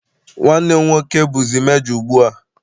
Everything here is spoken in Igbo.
Nwanne m nwoke bụzi mejo ugbu a.